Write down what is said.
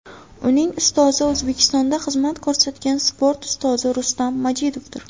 Uning ustozi O‘zbekistonda xizmat ko‘rsatgan sport ustozi Rustam Majidovdir.